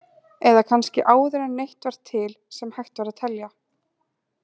Eða kannski áður en neitt var til sem hægt var að telja?